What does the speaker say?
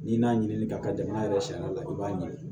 N'i n'a ɲini ka kɛ jamana yɛrɛ sariya la i b'a ɲini